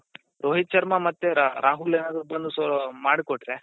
ರೋಹಿತ್ ಶರ್ಮ ಮತ್ತೆ ರಾಹುಲ್ ಏನಾದ್ರೂ ಬಂದು ಮಾಡ್ಕೊಟ್ರೆ